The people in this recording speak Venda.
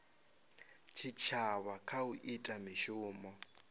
tshitshavha kha u ita mishumo